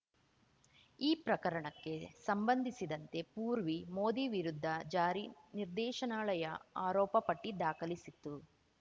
ಈ ಪ್ರಕರಣಕ್ಕೆ ಸಂಬಂಧಿಸಿದಂತೆ ಪೂರ್ವಿ ಮೋದಿ ವಿರುದ್ಧ ಜಾರಿ ನಿರ್ದೇಶನಾಲಯ ಆರೋಪಪಟ್ಟಿದಾಖಲಿಸಿತ್ತು